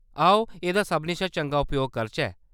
आओ, एह्‌‌‌दा सभनें शा चंगा उपयोग करचै।